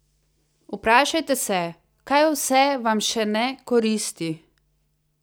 Vprašajte se, kaj vse vam še ne koristi?